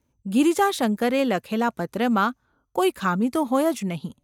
ગિરિજાશંકરે લખેલા પત્રમાં કોઈ ખામી તો હોય જ નહિ.